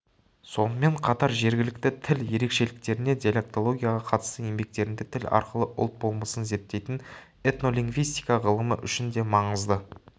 сонымен қатар жергілікті тіл ерекшеліктеріне диалектологияға қатысты еңбектерінде тіл арқылы ұлт болмысын зерттейтін этнолингвистика ғылымы үшін де маңызды